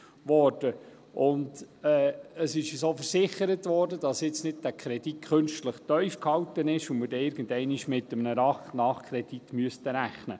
Uns wurde auch versichert, dass dieser Kredit nicht künstlich tief gehalten ist und wir irgendeinmal mit einem Nachkredit rechnen müssen.